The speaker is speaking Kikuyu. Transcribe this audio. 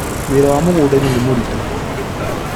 Wĩra wa mũgũndainĩ nĩ mũritũ